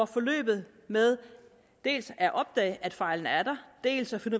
forløbet med dels at opdage at fejlen er der dels at finde